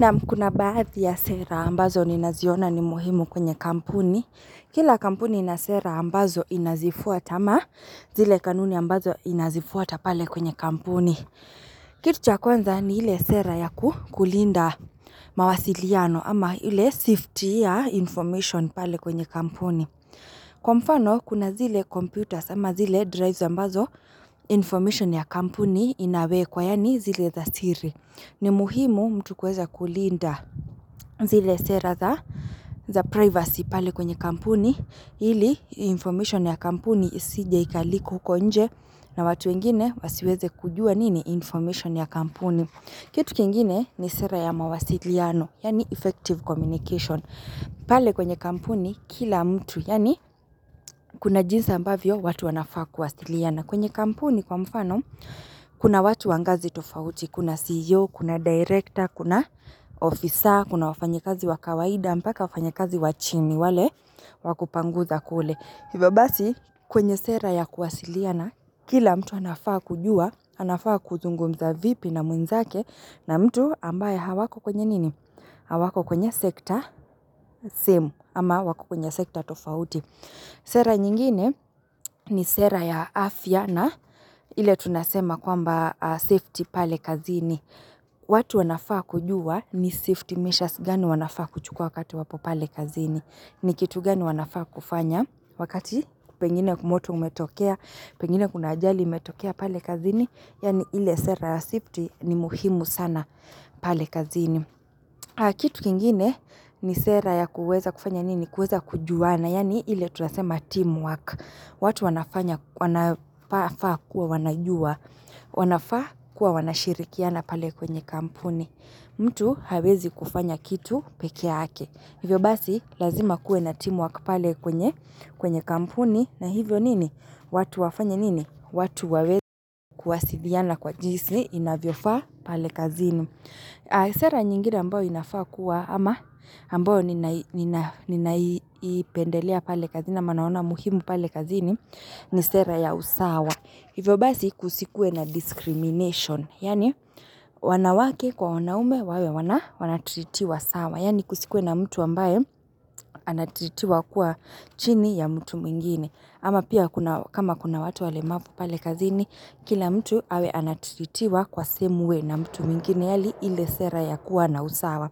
Naam kuna baadhi ya sera ambazo ni naziona ni muhimu kwenye kampuni. Kila kampuni ina sera ambazo inazifuata ama zile kanuni ambazo inazifuata pale kwenye kampuni. Kitu cha kwanza ni ile sera ya kulinda mawasiliano ama ile safety ya information pale kwenye kampuni. Kwa mfano kuna zile computers ama zile drives ambazo information ya kampuni inawekwa yani zile za siri. Ni muhimu mtu kueza kulinda zile sera za privacy pale kwenye kampuni, ili information ya kampuni isije ikaleak huko nje na watu wengine wasiweze kujua nini information ya kampuni. Kitu kingine ni sera ya mawasiliano, yani effective communication, pale kwenye kampuni kila mtu, yani kuna jinsi ambavyo watu wanafaa kuwasiliana. Na kwenye kampuni kwa mfano, kuna watu wangazi tofauti, kuna CEO, kuna director, kuna officer, kuna wafanye kazi wakawaida, mpaka wafanye kazi wachini, wale wakupanguza kule. Hivyo basi, kwenye sera ya kuwasiliana kila mtu anafaa kujua, anafaa kuzungumza vipi na mwenzake na mtu ambaye hawako kwenye nini? Hawako kwenye sekta same, ama wako kwenye sekta tofauti. Sera nyingine ni sera ya afya na ile tunasema kwamba safety pale kazini. Watu wanafaa kujua ni safety measures gani wanafaa kuchukua wakati wapo pale kazini. Ni kitu gani wanafaa kufanya wakati pengine moto umetokea, pengine kuna ajali imetokea pale kazini. Yani ile sera ya safety ni muhimu sana pale kazini. Kitu kingine ni sera ya kuweza kufanya nini, kuweza kujuana, yani ile tunasema teamwork. Watu wanafanya, wanafa kuwa wanajua, wanafa kuwa wanashirikiana pale kwenye kampuni. Mtu hawezi kufanya kitu pekee yake. Hivyo basi, lazima kuwe na teamwork pale kwenye kampuni. Na hivyo nini, watu wafanye nini, watu waweze kuwasiliana kwa jisi, inavyofa pale kazini. Sera nyingine ambayo inafakua ama ambayo nina ninaipendelea pale kazini ama naona muhimu pale kazini ni sera ya usawa Hivyo basi kusikue na discrimination, yani wanawake kwa wanaume wawe wanatiritiwa sawa Yani kusikue na mtu ambayo anatiritiwa kuwa chini ya mtu mwingine ama pia kama kuna watu walemavu pale kazini kila mtu awe anatiritiwa kwa same way na mtu mwingine ni hali ile sera ya kuwa na usawa.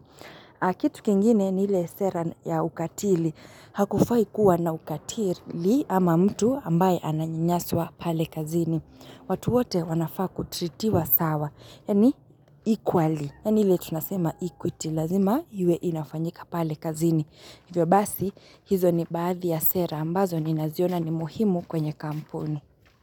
Kitu kingine ni ile sera ya ukatili. Hakufai kuwa na ukatili ama mtu ambaye ananyanyaswa pale kazini. Watu wote wanafaa kutritiwa sawa. Yani equally. Yani hile tunasema equity. Lazima hile inafanyika pale kazini. Hivyo basi, hizo ni baadhi ya sera. Ambazo ni naziona ni muhimu kwenye kampuni.